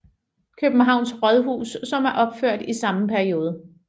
Københavns Rådhus som er opført i samme periode